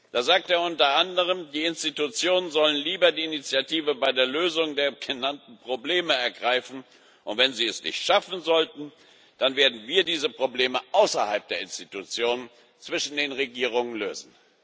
Da sagt er unter anderem Die Institutionen sollen lieber die Initiative bei der Lösung der genannten Probleme ergreifen, und wenn sie es nicht schaffen sollten, dann werden wir diese Probleme außerhalb der Institutionen zwischen den Regierungen lösen.